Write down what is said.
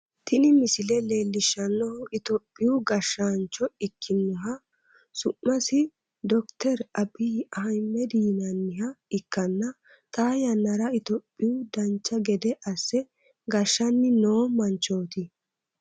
Tini misile leellishshannohu itophiyu gashshaancho ikkinoha su'masi dokiter abbiyi ahiimedi yinanniha ikkanna, xaa yannara itophiya dancha gede asse gashshanni noo manchooti.